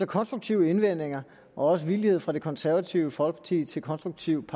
konstruktive indvendinger og villighed fra det konservative folkeparti til konstruktivt